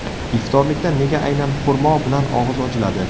Iftorlikda nega aynan xurmo bilan og‘iz ochiladi?.